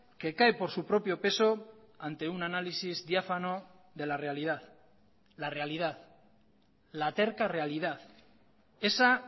que cae por su propio peso ante un análisis diáfano de la realidad la realidad la terca realidad esa